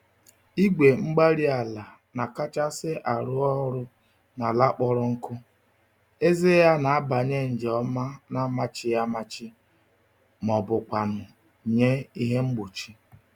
Igwe-mgbárí-ala na-akachasị arụ ọrụ n'ala kpọrọ nkụ, eze ya nabanye nje ọma namachighị-amachi mọbụkwanụ̀ nye ihe mgbochi